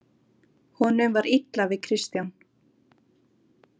Honum var illa við Kristján.